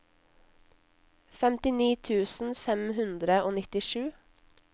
femtini tusen fem hundre og nittisju